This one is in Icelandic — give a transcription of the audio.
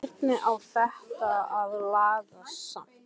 Hvernig á þetta að lagast samt??